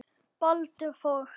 Baldur Þór.